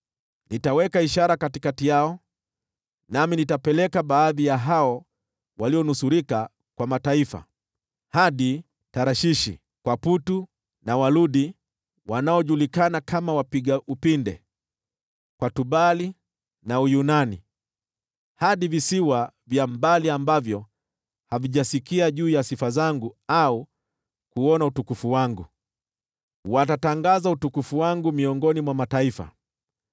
“Nitaweka ishara katikati yao, nami nitapeleka baadhi ya hao walionusurika kwa mataifa, hadi Tarshishi, kwa Puli na Waludi (wanaojulikana kama wapiga upinde), kwa Tubali na Uyunani, hadi visiwa vya mbali ambavyo havijasikia juu ya sifa zangu au kuuona utukufu wangu. Watatangaza utukufu wangu miongoni mwa mataifa.